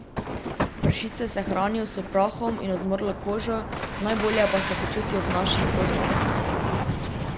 Pršice se hranijo s prahom in odmrlo kožo, najbolje pa se počutijo v naših posteljah.